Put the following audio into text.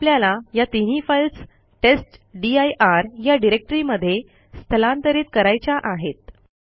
आता आपल्याला या तीनही फाईल्स टेस्टदीर या डिरेक्टरी मध्ये स्थलांतरित करायच्या आहेत